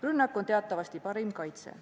Rünnak on teatavasti parim kaitse.